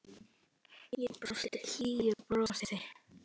Og brosti hlýju brosi.